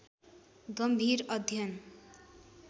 गम्भीर अध्ययन